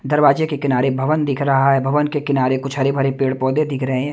दरवाजे के किनारे भवन दिख रहा है भवन के किनारे कुछ हरे-भरे पेड़-पौधे दिख रहे है।